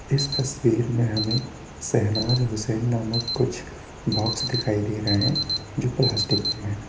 इस तस्वीर में हमें सहनाज़ हुसैन नामक कुछ बॉक्स दिखाई दे रहे हैं जो प्लास्टिक के हैं।